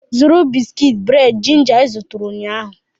Zụrụ bisikiiti bred ginger ị zụtara ụnyahụ!